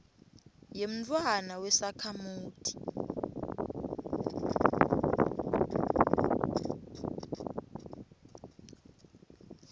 yemntfwana wesakhamuti